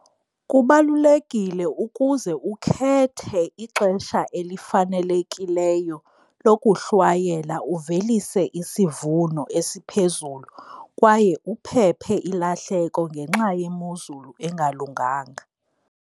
Kubalulekile ukuze ukhethe ixesha elifanelekileyo lokuhlwayela uvelise isivuno esiphezulu kwaye uphephe ilahleko ngenxa yemozulu engalunganga.